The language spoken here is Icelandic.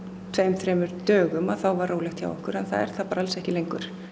tveim þremur dögum að þá var rólegt hjá okkur að það er það bara alls ekki lengur